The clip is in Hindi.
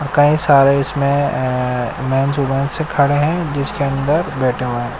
कई सारे इसमें अ मैंचु मेन से खड़े हैं जिसके अंदर बैठे हुए हैं।